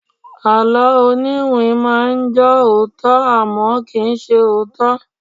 Àló oniwin máa ń jọ òótọ́, àmọ́, kì í ṣe òótọ́.